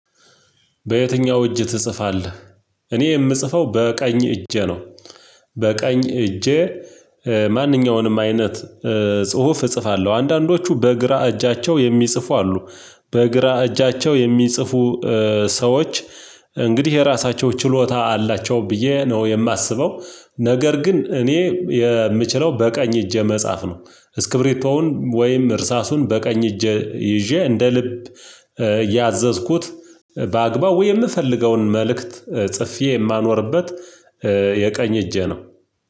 በየትኛው እጅ ትጽፋለህ እኔ የምጽፈው በቀኝ እጄ ነው። በቀኝ እጄ ማንኛውንም አይነት ጽሁፍ እጽፋለሁ አንዳንዶቹ በግራ እጃቸው የሚጽፉ አሉ በግራ እጃቸው የሚጽፉ ሰዎች እንግዲህ የራሳቸው ችሎታ አላቸው ብዬ ነው የማስበው። ነገር ግን እኔ የምችለው በቀኝ እጄ መጻፍ ነው። እስክብሪቶውን ወይም እርሳሱን በቀኝ እጄ ይዤ እንደ ልብ ያዘዝኩት በአግባቡ የምፈልገውን መልእክት ጽፌ የማኖርበት። የቀኝ እጄ ነው።